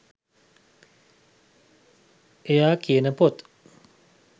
එයා කියන පොත්